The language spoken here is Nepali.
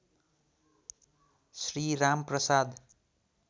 श्री राम प्रसाद